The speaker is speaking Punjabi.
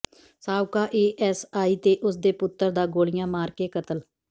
ਸਾਬਕਾ ਏਐਸਆਈ ਤੇ ਉਸ ਦੇ ਪੁੱਤਰ ਦਾ ਗੋਲੀਆਂ ਮਾਰ ਕੇ ਕਤਲ